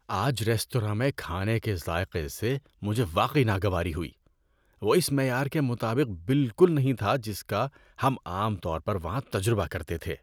آج ریستوراں میں کھانے کے ذائقے سے مجھے واقعی ناگواری ہوئی۔ وہ اس معیار کے مطابق بالکل نہیں تھا جس کا ہم عام طور پر وہاں تجربہ کرتے تھے۔